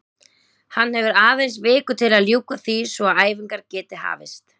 Hann hefur aðeins viku til að ljúka því svo að æfingar geti hafist.